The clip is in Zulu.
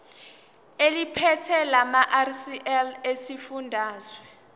eliphethe lamarcl esifundazwe